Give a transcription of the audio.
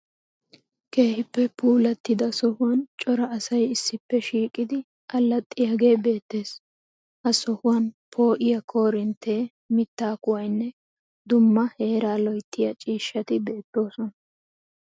Keehippe puullatida sohuwan cora asay issippe shiiqidi allaxxiyagee beettees. Ha sohuwan poo'iya koorinttee, mittaa kuwayinne dumma heeraa loyittiya ciishshati beettoosona.